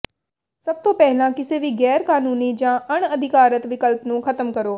ਸਭ ਤੋਂ ਪਹਿਲਾਂ ਕਿਸੇ ਵੀ ਗੈਰਕਾਨੂੰਨੀ ਜਾਂ ਅਣਅਧਿਕਾਰਤ ਵਿਕਲਪ ਨੂੰ ਖਤਮ ਕਰੋ